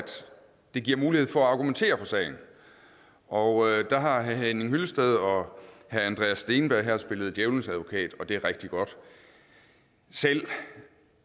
der gives mulighed for at argumentere for sagen og der har herre henning hyllested og herre andreas steenberg spillet djævelens advokat og det er rigtig godt selv